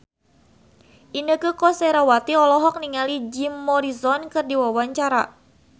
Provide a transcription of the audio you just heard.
Inneke Koesherawati olohok ningali Jim Morrison keur diwawancara